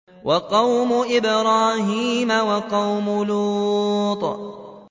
وَقَوْمُ إِبْرَاهِيمَ وَقَوْمُ لُوطٍ